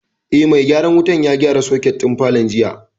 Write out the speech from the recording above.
Eh, mai gyaran wutan ya gyara soket din falon jiya